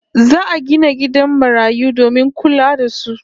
Za'a gina gidan marayu domin kula da su